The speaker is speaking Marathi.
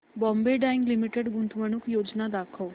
बॉम्बे डाईंग लिमिटेड गुंतवणूक योजना दाखव